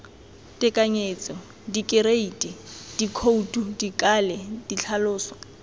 tekanyetso dikereiti dikhoutu dikale ditlhaloso